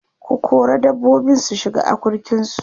ku kora dabbobin su shiga akurkin su!